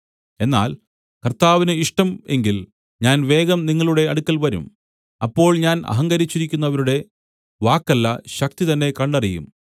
എന്നാൽ കർത്താവിന് ഇഷ്ടം എങ്കിൽ ഞാൻ വേഗം നിങ്ങളുടെ അടുക്കൽ വരും അപ്പോൾ ഞാൻ അഹങ്കരിച്ചിരിക്കുന്നവരുടെ വാക്കല്ല ശക്തി തന്നെ കണ്ടറിയും